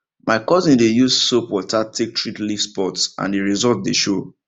my cousin dey use soap water take treat leaf spot and the result dey show